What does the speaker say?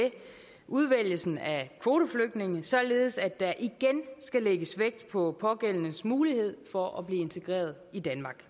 udvælgelsen af kvoteflygtninge således at der igen skal lægges vægt på pågældendes mulighed for at blive integreret i danmark